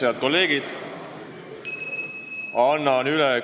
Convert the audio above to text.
Head kolleegid!